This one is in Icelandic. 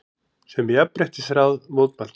sem Jafnréttisráð mótmælti.